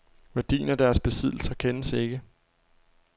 Værdien af deres besiddelser kendes ikke.